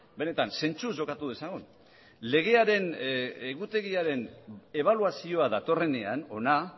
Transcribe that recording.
benetan zentzuz jokatu dezagun legearen egutegiaren ebaluazioa datorrenean hona